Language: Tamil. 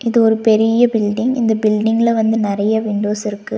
இது ஒரு பெரிய பில்டிங் இந்த பில்டிங்ல வந்து நெறைய விண்டோஸ் இருக்கு.